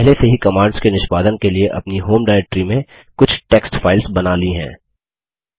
मैंने पहले से ही कमांड्स के निष्पादन के लिए अपनी होम डायरेक्ट्री में कुछ टेक्स्ट फाइल्स बना ली हैं